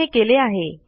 आपण हे केले आहे